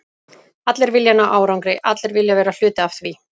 Allir vilja ná árangri, allir vilja vera hluti af því.